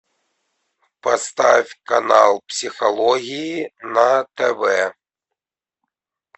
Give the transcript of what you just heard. поставь канал психологии на тв